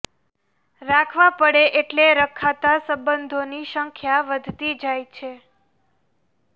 રાખવા પડે એટલે રખાતા સંબંધોની સંખ્યા વધતી જાય છે